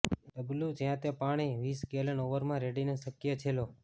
ડબલું જ્યાં તે પાણી વીસ ગેલન ઓવરમાં રેડીને શક્ય છે લો